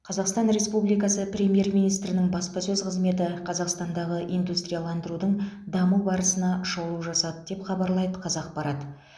қазақстан ресупбликасы премьер министрінің баспасөз қызметі қазақстандағы индустрияландырудың даму барысына шолу жасады деп хабарлайды қазақпарат